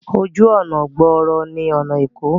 Ojú ọnà gbòòrò ni ọna Eko.